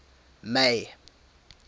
may